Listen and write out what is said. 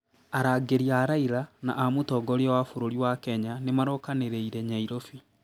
Arangĩri a Raila na a mũtongoria wa bũrũri wa Kenya nĩmarokanĩrĩire Nairobi